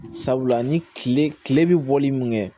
Sabula ni kile kile bɛ bɔli min kɛ